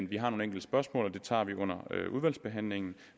vi har nogle enkelte spørgsmål og dem tager vi under udvalgsbehandlingen